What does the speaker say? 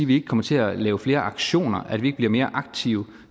vi ikke kommer til at lave flere aktioner og at vi ikke bliver mere aktive og